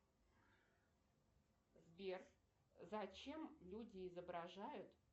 сбер зачем люди изображают